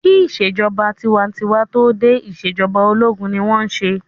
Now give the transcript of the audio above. Kí ìṣèjọba tinwatinwa tó dé, ìṣèjọba ológun ni wọ́n n ṣe